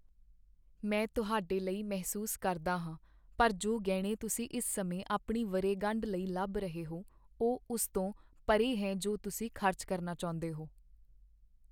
ਮੈਂ ਤੁਹਾਡੇ ਲਈ ਮਹਿਸੂਸ ਕਰਦਾ ਹਾਂ, ਪਰ ਜੋ ਗਹਿਣੇ ਤੁਸੀਂ ਇਸ ਸਮੇਂ ਆਪਣੀ ਵਰ੍ਹੇਗੰਢ ਲਈ ਲੱਭ ਰਹੇ ਹੋ, ਉਹ ਉਸ ਤੋਂ ਪਰੇ ਹੈ ਜੋ ਤੁਸੀਂ ਖ਼ਰਚ ਕਰਨਾ ਚਾਹੁੰਦੇ ਹੋ।